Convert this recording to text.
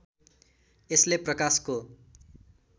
यसले प्रकाशको